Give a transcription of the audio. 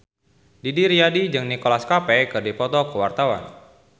Didi Riyadi jeung Nicholas Cafe keur dipoto ku wartawan